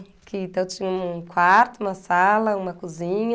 Que então eu tinha um quarto, uma sala, uma cozinha.